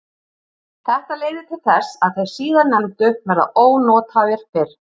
Þetta leiðir til þess að þeir síðarnefndu verða ónothæfir fyrr.